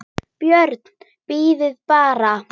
BJÖRN: Bíðið bara!